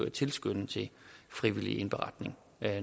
at tilskynde til frivillig indberetning